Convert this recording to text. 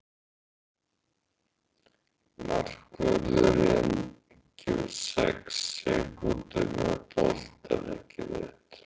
Markvörðurinn hefur sex sekúndur með boltann, ekki rétt?